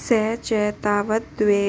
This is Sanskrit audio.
स च तावत् द्वे